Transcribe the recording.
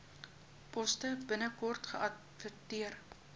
poste binnekort geadverteer